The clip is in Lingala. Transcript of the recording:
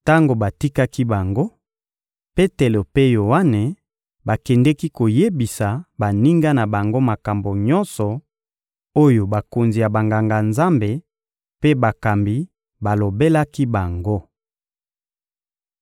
Tango batikaki bango, Petelo mpe Yoane bakendeki koyebisa baninga na bango makambo nyonso oyo bakonzi ya Banganga-Nzambe mpe bakambi balobelaki bango.